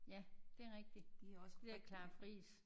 Ja det er rigtig de der Clara Frijs